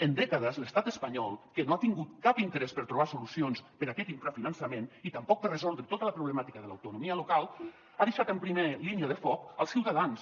en dècades l’estat espanyol que no ha tingut cap interès per trobar solucions per a aquest infrafinançament i tampoc per resoldre tota la problemàtica de l’autonomia local ha deixat en primera línia de foc els ciutadans